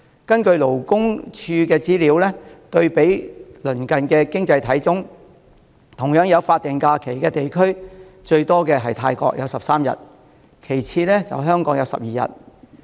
根據勞工處的資料，對比鄰近的經濟體中，同樣有法定假日的地區，最多的是有13天的泰國，其次是有12天的香港。